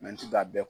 n ti don a bɛɛ